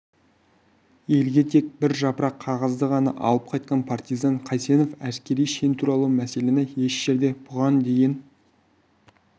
елге тек бір жапырақ қағазды ғана алып қайтқан партизан қайсенов әскери шен туралы мәселені еш жерде бұған дейін